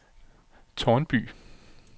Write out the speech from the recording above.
Tårnby